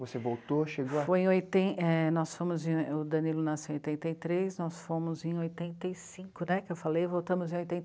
Você voltou, chegou a... Foi em oiten... é... nós fomos em... o Danilo nasceu em oitenta e três, nós fomos em oitenta e cinco, né, que eu falei? Voltamos em oitenta...